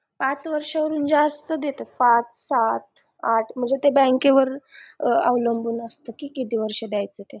पाच वर्षाहून जास्त देतात पाच सात आठ म्हणजे ते bank वर अवलंबून असते की किती वर्ष द्यायचं ते